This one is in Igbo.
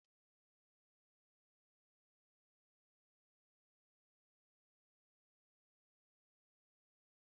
Onye na-akọ akụkọ na paak tụrụ anyị n'anya site n'akụkọ banyere nkịta ọhịa na-eme ihe ọjọọ.